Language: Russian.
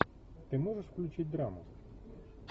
ты можешь включить драму